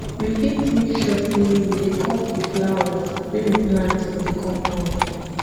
we fit make sure sey we dey cut di flowers wey we plant for di compound